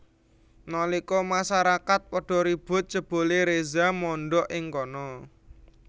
Nalika masarakat padha ribut jebulé Reza mondhok ing kana